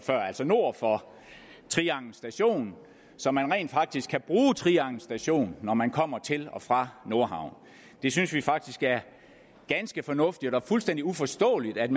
altså nord for trianglen station så man rent faktisk kan bruge trianglen station når man kommer til og fra nordhavn det synes vi faktisk er ganske fornuftigt og fuldstændig uforståeligt at